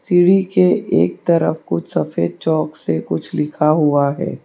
सीढ़ी एक तरफ कुछ सफेद चौक से कुछ लिखा हुआ है।